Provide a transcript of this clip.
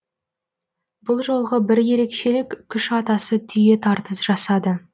бұл жолғы бір ерекшелік күш атасы түйе тартыс жасады